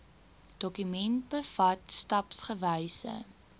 dokument bevat stapsgewyse